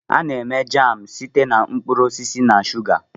A na-eme jam site na mkpụrụ osisi na shuga.